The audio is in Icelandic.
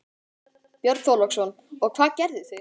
Björn Þorláksson: Og hvað gerðu þið?